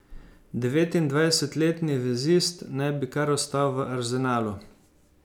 Devetindvajsetletni vezist naj bi kar ostal v Arsenalu.